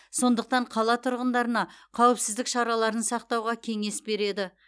сондықтан қала тұрғындарына қауіпсіздік шараларын сақтауға кеңес береді